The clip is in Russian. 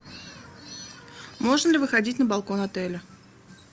можно ли выходить на балкон отеля